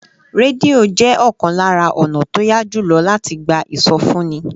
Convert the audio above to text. Rédíò jẹ́ ọ̀kan lára ọ̀nà tó yá jù lọ láti gba ìsọfúnni